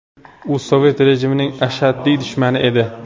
U sovet rejimining ashaddiy dushmani edi.